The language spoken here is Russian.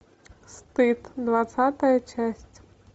стыд двадцатая часть